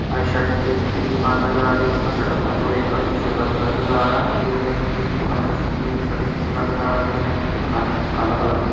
एक दुकान नजर आ रही है जिसका शटर बंद और एक का शटर खुला नजर आ रहा है इसी के साथ दूसरी दुकान का मुझे मिनी शटर खुला नजर आ रहा है जिसके अंदर कुछ काला काला--